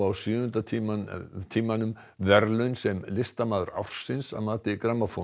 sjöunda tímanum tímanum verðlaun sem listamaður ársins að mati